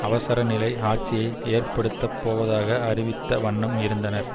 அவசர நிலை ஆட்சியை ஏற்படுத்தப் போவதாக அறிவித்த வண்ணம் இருந்தனர்